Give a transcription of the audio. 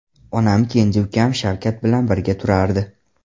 Onam kenja ukam Shavkat bilan birga turardi.